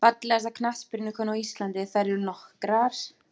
Fallegasta knattspyrnukonan á Íslandi: Þær eru nokkrar.